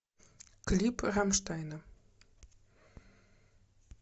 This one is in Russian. клип рамштайна